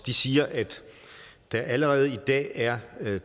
siger at der allerede i dag er